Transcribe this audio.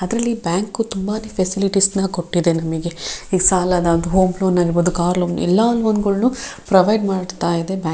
ಅದ್ರಲ್ಲಿ ಬ್ಯಾಂಕ್ ತುಂಬಾನೇ ಫ್ಯಾಸಿಲಿಟೀಸ್ ನ ಕೊಟ್ಟಿದೆ ನಮಿಗೆ ಇಗ್ ಸಾಲನ ಹೋಂ ಲೋನ್ ಆಗಿರಬಹುದು ಕಾರ್ ಲೋನ್ ಗಳ್ನು ಪ್ರೊವೈಡ್ ಮಾಡ್ತಾ ಇದೆ ಬ್ಯಾಂಕ್ .